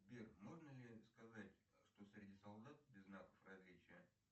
сбер можно ли сказать что среди солдат без знаков различия